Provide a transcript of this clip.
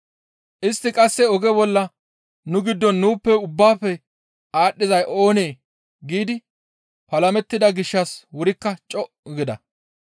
Istti qasse oge bolla, «Nu giddon nuuppe ubbaafe aadhdhizay oonee?» giidi palamettida gishshas wurikka co7u gida.